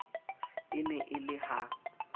e ne e le ha